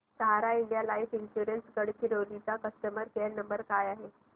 सहारा India life insurance Gadchiroli चा customer care number काय आहे